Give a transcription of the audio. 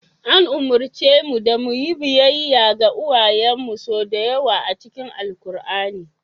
An umarce mu da mu yi biyayya ga uwayenmu sau da yawa a cikin Alkur'ani.